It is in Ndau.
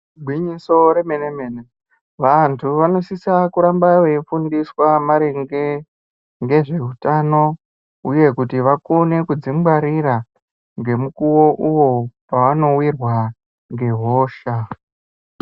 Igwinyiso remene mene vanhu vanosisa kuramba weifundiswa maringe ngezvehutano uye kuti vakone kudzingwarira ngemukuwo uwo wawanowirwa ngehosha.